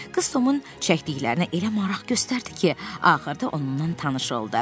Qız Tomun çəkdiklərinə elə maraq göstərdi ki, axırda onunla tanış oldu.